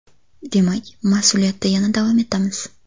Demak, mas’uliyatda yana davom etamiz”.